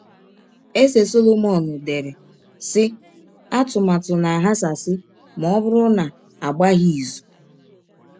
Eze Sọlọmọn dere, sị: “ Atụmatụ na - aghasasị ma ọ bụrụ na a gbaghị izụ. ”